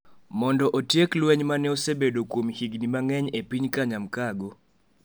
mondo otiek lweny ma ne osebedo kuom higni mang’eny e piny Kanyamkago,